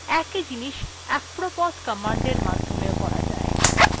একই জিনিস apropos commandএর মাধ্যমেও করা যায়